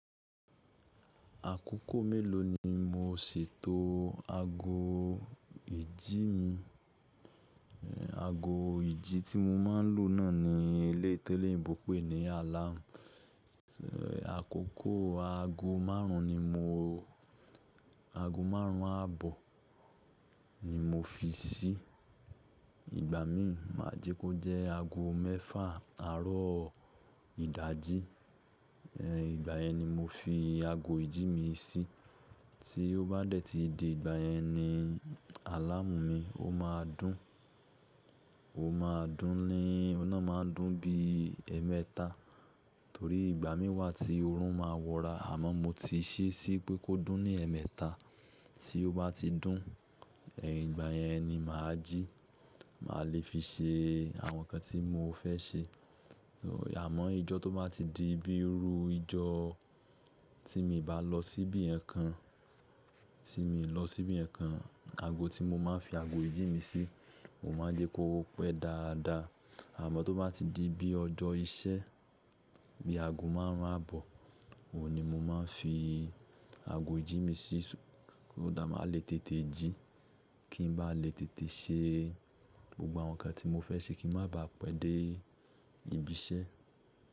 Àkókò mélòó ni mo sì tó ago ìjí mi? Ago ìjí tí mo máa ń lò náà ni eléyii ti eleyinbò pè ní alámù. Àkókò ago márùn-ún ni mo, ago márùn-ún àbọ̀ ni mo fi sí i. Ìgbà mí ma jẹ́ kó jẹ́ ago mẹ́fà àárọ̀ ìdájí. Ẹ̀, ìgbà yẹn ni mo fi ago ìjí mi sí. Tí ó bá dẹ̀ tí di ìgbà yẹn ni alámù mi, ó máa dún. Ó máa dún ni, ọ̀ le máa dún bí ẹẹ́mẹ́ta. Torí ìgbà mí wà tí oorun máa wọra. Àmọ́ mo ti ṣe sí i pé kó dún ní ẹẹ́mẹta. Tí ó bá ti dún, ẹ̀yin ìgbà yẹn ni mà á jí, mà á le fi ṣe àwọn nǹkan tí mo fẹ́ ṣe. Àmọ́ ijo tó bá ti di bíi ru ojo tí mi bá lọ síbi nkankan, tí mo lọ síbi kankan, ago tí mo máa ń fi ago ìjí mi sí, mo máa jẹ́ kó ọ pé dáadáa. Àmọ́ tó bá ti di bí ọjọ́ iṣẹ́ bí ago márùn-ún àbọ̀, òun ni mo máa ń fi ago ìjí mi sí. Ó dà, mà á le tètè jí kí n bá lè tètè ṣe gbogbo àwọn nǹkan tí mo fẹ́ ṣe kí n ma bá pẹ́ dé ibi iṣẹ́.